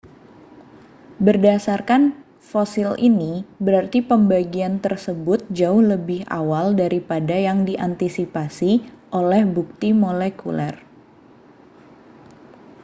berdasarkan fosil ini berarti pembagian tersebut jauh lebih awal daripada yang diantisipasi oleh bukti molekuler